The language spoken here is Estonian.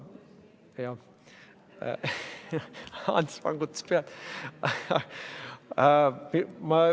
Ants vangutas pead.